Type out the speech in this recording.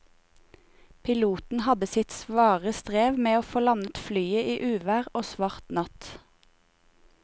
Piloten hadde sitt svare strev med å få landet flyet i uvær og svart natt.